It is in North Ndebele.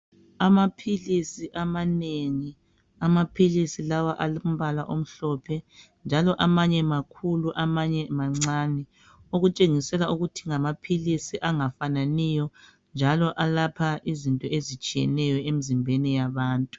Amaphilisi amanengi, amaphilisi lawa alombala omhlophe njalo amanye makhulu amanye mancane, okutshengisela ukuthi ngamaphilisi angafananiyo njalo alapha izinto ezitshiyeneyo emzimbeni yabantu.